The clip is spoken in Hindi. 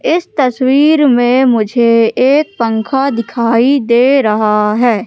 इस तस्वीर में मुझे एक पंखा दिखाई दे रहा है।